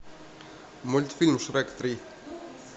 мультфильм шрек три